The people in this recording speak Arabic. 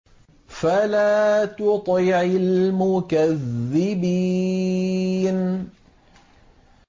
فَلَا تُطِعِ الْمُكَذِّبِينَ